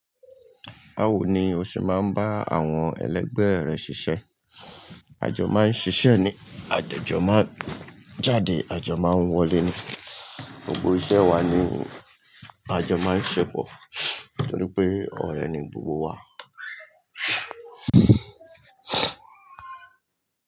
Bawo ni o ṣe maa n ba àwon èlẹgbẹ rẹ ṣiṣẹ? Àjọ máà ń ṣiṣẹ́ ni, à de jọ máa ń jáde, àjọ máa ń wọlé ni. Gbogbo iṣẹ́ wa ni àjọ máa ń ṣe pò, nítorí pé ọ̀rẹ́ ni gbogbo wa.